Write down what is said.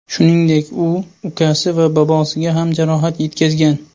Shuningdek, u ukasi va bobosiga ham jarohat yetkazgan.